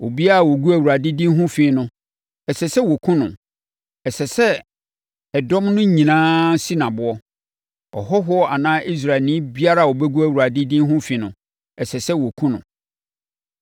obiara a ɔgu Awurade din ho fi no, ɛsɛ sɛ wɔkum no. Ɛsɛ sɛ ɛdɔm no nyinaa si no aboɔ. Ɔhɔhoɔ anaa Israelni biara a ɔbɛgu Awurade din ho fi no, ɛsɛ sɛ wɔkum no.